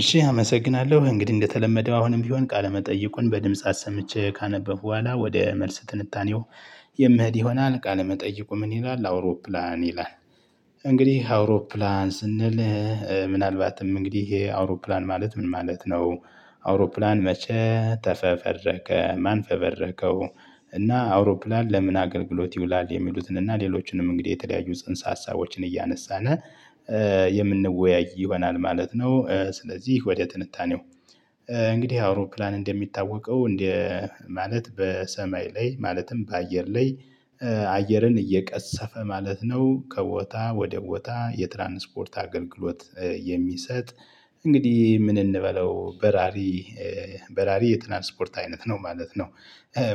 እሺ አመሰግናለሁ እንግዲህ እንደተለመደው አሁንም ቢሆን ቃለመጠይቁን በድምፃት አሰምቼ ካነበብኩ በኋላ ወደ መልስ ትንታኔው። የምሄድ ይሆናል ቃለ መጠይቁ ምን ይላል አውሮፕላን ይላል? እንግዲህ አውሮፕላን ስንል ምናልባትም እንግዲህ ይሄ አውሮፕላን ማለት ምን ማለት ነው? አውሮፕላን መቼ ተፈበረከ ማን ፈበረከው? እና አውሮፕላን ለምን አገልግሎት ይውላል የሚሉትንና ሌሎችንም እንግዲህ የተለያዩ ጽንሰ ሀሳቦችን እያነሳን። የምንወያይ ይሆናል ማለት ነው። ስለዚህ ወደ ትንታኔው። እንግዲህ አውሮፕላን እንደሚታወቀው እንደ ማለት በሰማይ ላይ ማለትም በአየር ላይ አየርን እየቀሰፈ ማለት ነው። ከቦታ ወደ ቦታ የትራንስፖርት አገልግሎት። የሚሰጥ እንግዲህ ምን እንበለው በራሪ? በራሪ የትራንስፖርት አይነት ነው ማለት ነው።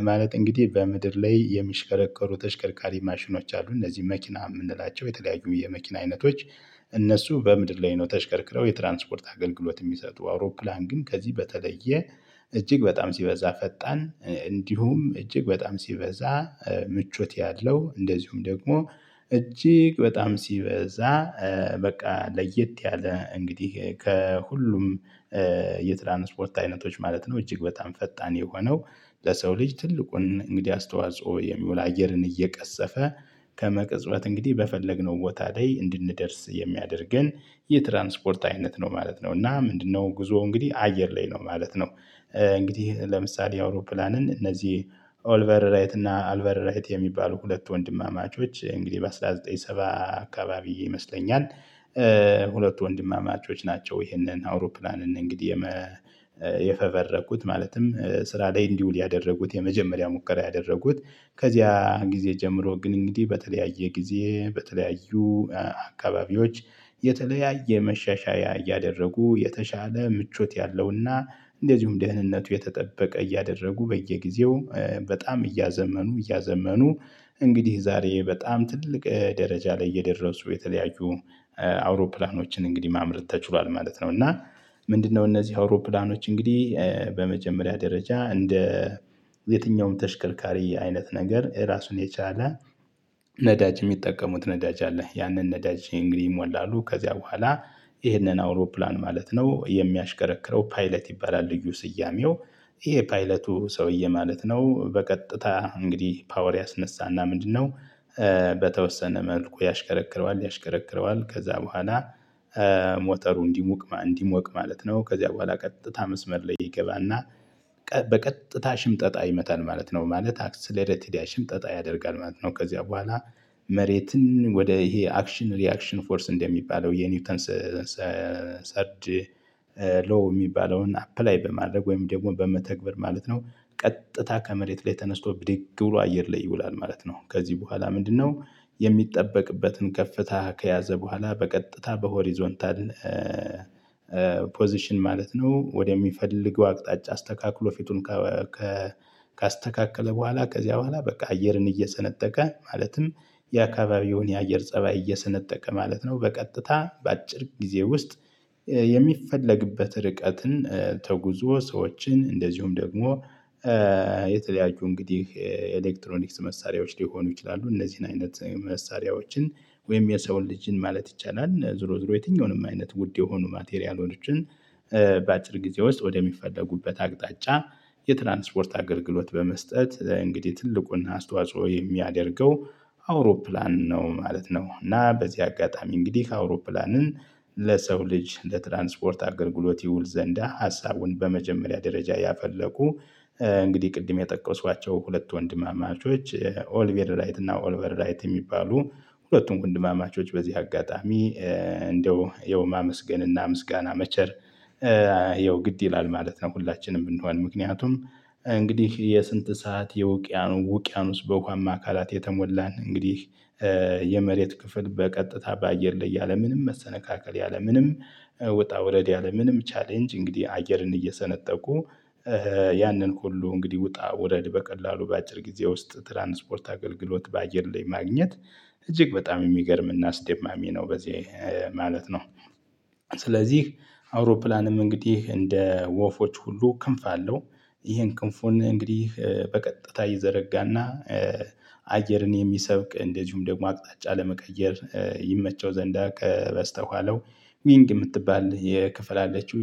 ማለት እንግዲህ በምድር ላይ የሚሽከረከሩ ተሽከርካሪ ማሽኖች አሉ እነዚህ መኪና የምንላቸው የተለያዩ የመኪና አይነቶች። እነሱ በምድር ላይ ነው ተሽከርክረው የትራንስፖርት አገልግሎት የሚሰጡ አውሮፕላን ግን ከዚህ በተለየ። እጅግ በጣም ሲበዛ ፈጣን እንዲሁም እጅግ በጣም ሲበዛ። ምቾት ያለው እንደዚሁም ደግሞ እጅግ በጣም ሲበዛ በቃ ለየት ያለ እንግዲህ ከሁሉም። የትራንስፖርት አይነቶች ማለት ነው እጅግ በጣም ፈጣን የሆነው። ለሰው ልጅ ትልቁን እንግዲህ አስተዋጽኦ የሚውል አየርን እየቀሰፈ ከመቅጽበት እንግዲህ በፈለግነው ቦታ ላይ እንድንደርስ የሚያደርገን የትራንስፖርት አይነት ነው ማለት ነው። እና ምንድነው ጉዞ እንግዲህ አየር ላይ ነው ማለት ነው። እንግዲህ ለምሳሌ አውሮፕላንን እነዚህ ኦልቨር ራይት እና አልቨር ራይት የሚባሉ ሁለት ወንድማማቾች እንግዲህ በ አስራ ዘጠኝ ሰባ በ አካባቢ ይመስለኛል። ሁለቱ ወንድማማቾች ናቸው። ይሄንን አውሮፕላን እንግዲህ የፈበረኩት ማለትም ስራ ላይ እንዲውል ያደረጉት የመጀመሪያ ሙከራ ያደረጉት። ከዚያ ጊዜ ጀምሮ ግን እንግዲህ በተለያየ ጊዜ በተለያዩ አካባቢዎች የተለያየ መሻሻያ እያደረጉ የተሻለ ምቾት ያለውና እንደዚሁም ደህንነቱ የተጠበቀ እያደረጉ በየጊዜው በጣም እያዘመኑ እያዘመኑ። እንግዲህ ዛሬ በጣም ትልቅ ደረጃ ላይ እየደረሱ የተለያዩ አውሮፕላኖችን እንግዲህ ማምረት ተችሏል ማለት ነው። እና ምንድነው እነዚህ አውሮፕላኖች እንግዲህ በመጀመሪያ ደረጃ እንደ የትኛውም ተሽከርካሪ አይነት ነገር ራሱን የቻለ። ነዳጅ የሚጠቀሙት ነዳጅ አለ ያንን ነዳጅ እንግዲህ ይሞላሉ ከዚያ በኋላ። ይሄንን አውሮፕላን ማለት ነው የሚያሽከረክረው ፓይለት ይባላል። ልዩ ስያሜው ይሄ ፓይለቱ ሰውዬ ማለት ነው። በቀጥታ እንግዲህ ፓወር ያስነሳና ምንድነው? በተወሰነ መልኩ ያሽከረክረዋል ያሽከረክረዋል ከዛ በኋላ። ሞተሩ እንዲሞቅ እንዲሞቅ ማለት ነው ከዚያ በኋላ ቀጥታ መስመር ላይ ይገባና። በቀጥታ ሽምጠጣ ይመታል ማለት ነው ማለት አክስለሬት ሽምጠጣ ያደርጋል ማለት ነው። ከዚያ በኋላ። መሬትን ወደ ይሄ አክሽን ሪያክሽን ፎርስ እንደሚባለው የኒውተን ሰርድ ሎው የሚባለውን አፕላይ በማድረግ ወይም ደግሞ በመተግበር ማለት ነው። ቀጥታ ከመሬት ላይ ተነስቶ ብድግ ብሎ አየር ላይ ይውላል ማለት ነው። ከዚህ በኋላ ምንድነው? የሚጠበቅበትን ከፍታ ከያዘ በኋላ በቀጥታ በሆሪዞንታል። ፖዚሽን ማለት ነው ወደሚፈልገው አቅጣጫ አስተካክሎ ፊቱን። ካስተካከለ በኋላ ከዚያ በኋላ በቃ አየርን እየሰነጠቀ ማለትም የአካባቢውን የአየር ፀባይ እየሰነጠቀ ማለት ነው። በቀጥታ በአጭር ጊዜ ውስጥ። የሚፈለግበትን ርቀትን ተጉዞ ሰዎችን እንደዚሁም ደግሞ። የተለያዩ እንግዲህ ኤሌክትሮኒክስ መሳሪያዎች ሊሆኑ ይችላሉ። እነዚህን አይነት መሳሪያዎችን ወይም የሰውን ልጅን ማለት ይቻላል ዞሮ ዞሮ የትኛውንም አይነት ውድ የሆኑ ማቴሪያሎችን። በአጭር ጊዜ ውስጥ ወደሚፈለጉበት አቅጣጫ። የትራንስፖርት አገልግሎት በመስጠት እንግዲህ ትልቁና አስተዋጽኦ የሚያደርገው አውሮፕላን ነው ማለት ነው። እና በዚህ አጋጣሚ እንግዲህ አውሮፕላንን ለሰው ልጅ ለትራንስፖርት አገልግሎት ይውል ዘንዳ ሀሳቡን በመጀመሪያ ደረጃ ያፈለቁ። እንግዲህ ቅድም የጠቀሷቸው ሁለት ወንድማማቾች ኦሊቪር ራይት እና ኦልቨር ራይት የሚባሉ ሁለቱም ወንድማማቾች በዚህ አጋጣሚ። እንደው የውማ ማመስገንና ምስጋና መቸር ይኸው ግድ ይላል ማለት ነው። ሁላችንም ብንሆን ምክንያቱም እንግዲህ የስንት ሰዓት የውቅያኖ ውቅያኖስ ውስጥ በውሃማ አካላት የተሞላን እንግዲህ። የመሬት ክፍል በቀጥታ በአየር ላይ ያለምንም መሰነካከል ያለምንም ዉጣ ወረድ ያለ ምንም ቻሌንጅ እንግዲህ አየርን እየሰነጠቁ። ያንን ሁሉ እንግዲህ ውጣ ወረድ በቀላሉ በአጭር ጊዜ ውስጥ ትራንስፖርት አገልግሎት በአየር ላይ ማግኘት። እጅግ በጣም የሚገርም እና አስደማሚ ነው በዚህ ማለት ነው። ስለዚህ አውሮፕላንም እንግዲህ እንደ ወፎች ሁሉ ክንፍ አለው። ይሄን ክንፉን እንግዲህ በቀጥታ ይዘረጋና። አየርን የሚሰብቅ እንደዚሁም ደግሞ አቅጣጫ ለመቀየር ይመቸው ዘንዳ ከበስተኋላው ዊንግ የምትባል የክፍል አለችው